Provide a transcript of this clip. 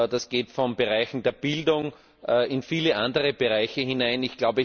Das geht vom Bereich der Bildung in viele andere Bereiche hinein.